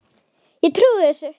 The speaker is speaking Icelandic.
Ég trúi þessu.